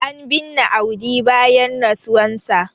an binne Audi bayan rasuwarsa